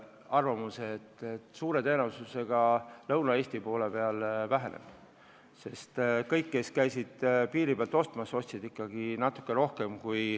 Suure tõenäosusega see Lõuna-Eestis väheneb, sest kõik, kes on käinud piiri tagant ostmas, on ostnud ikkagi normaalsest rohkem.